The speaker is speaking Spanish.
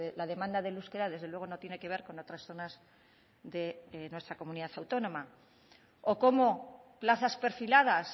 la demanda del euskera desde luego no tiene que ver con otras zonas de nuestra comunidad autónoma o cómo plazas perfiladas